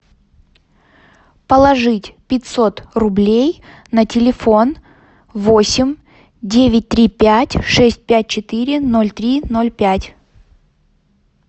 положить пятьсот рублей на телефон восемь девять три пять шесть пять четыре ноль три ноль пять